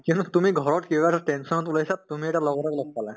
কিয়নো তুমি ঘৰত কিবা এটা tension ত ওলাইছা তুমি এটা লগৰ এটাক লগ পালা